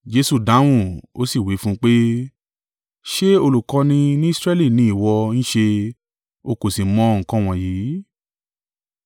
Jesu dáhùn, ó sì wí fún un pé, “Ṣé olùkọ́ni ní Israẹli ni ìwọ ń ṣe, o kò sì mọ nǹkan wọ̀nyí?